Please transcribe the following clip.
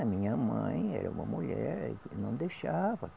A minha mãe era uma mulher, não deixava.